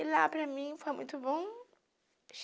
E lá, para mim, foi muito bom.